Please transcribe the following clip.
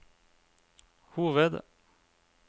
hoved